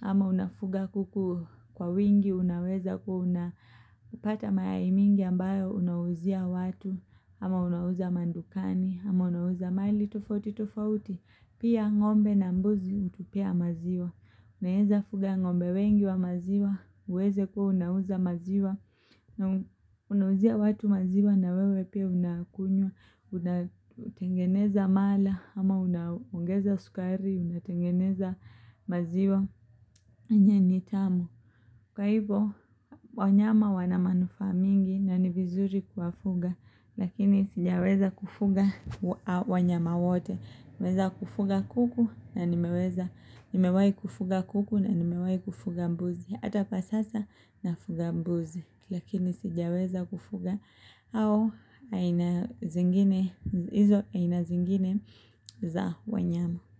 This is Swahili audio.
Ama unafuga kuku kwa wingi, unaweza kuwa unapata mayai mingi ambayo unauzia watu Ama unauza madukani, ama unauza mahali tofauti tofauti Pia ng'ombe na mbuzi hutupea maziwa Unaweza fuga ng'ombe wengi wa maziwa, uweze kuwa unauza maziwa Unauzia watu maziwa na wewe pia unakunywa, unatengeneza mala Ama unaongeza sukari, unatengeneza maziwa yenye ni tamu. Kwa hivyo wanyama wana manufaa mingi na ni vizuri kuwafuga lakini sijaweza kufuga wanyama wote. Nimeweza kufuga kuku na nimeweza nimewahi kufuga kuku na nimewahi kufuga mbuzi. Hata pa sasa nafuga mbuzi lakini sijaweza kufuga hao aina zingine, hizo aina zingine za wanyama.